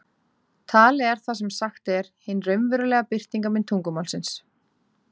Talið er það sem sagt er, hin raunverulega birtingarmynd tungumálsins.